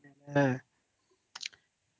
noise